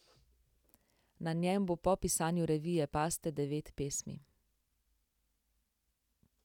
Na njem bo po pisanju revije Paste devet pesmi.